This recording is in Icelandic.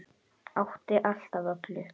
Átti allt af öllu.